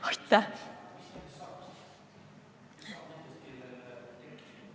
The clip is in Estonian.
Aitäh!